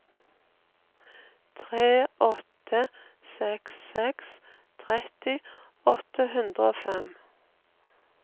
tre åtte seks seks tretti åtte hundre og fem